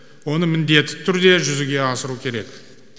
оны міндетті түрде жүзеге асыру керек